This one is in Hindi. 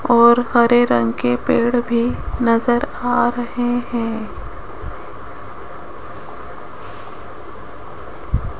और हरे रंग के पेड़ भी नजर आ रहे हैं।